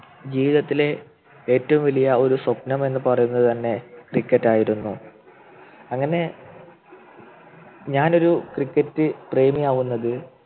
ജീവിതത്തിലെ ഏറ്റവും വലിയ ഒരു സ്വപ്നം എന്ന് പറയുന്നത് തന്നെ Cricket ആയിരുന്നു അങ്ങനെ ഞാനൊരു Cricket പ്രേമി ആവുന്നത്